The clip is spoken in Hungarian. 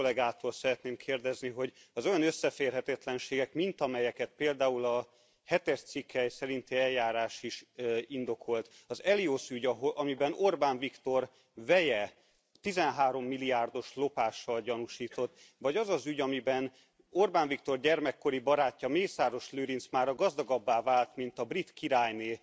Deutsch kollégától szeretném kérdezni, hogy az olyan összeférhetetlenségek, mint amelyeket például a hetedik cikk szerinti eljárás is indokolt, az Elios ügy, amiben Orbán Viktor veje 13 milliárdos lopással gyanúsított, vagy az az ügy, amiben Orbán Viktor gyermekkori barátja, Mészáros Lőrinc mára gazdagabbá vált, mint a brit királynő,